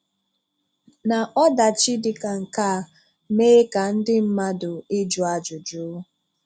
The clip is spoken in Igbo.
Na ọdàchì dị ka nke a mee ka ndị mmadụ ịjụ ajụjụ.